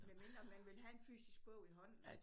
Medmindre man vil have en fysisk bog i hånden